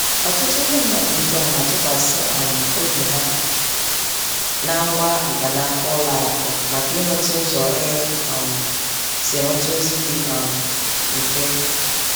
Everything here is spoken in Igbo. Ọtụtụ ndị mmadụ ugbu a na-atụkwasị um obi ha na ngwa mkpanaka ụlọ akụ maka inweta ụzọ e um si enweta ozi dị um mfe.